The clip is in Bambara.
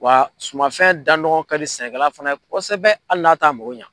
Wa sumanfɛn danɔgɔ ka di sɛnɛkɛla fana ye kosɛbɛ hali n'a t'a mako ɲa.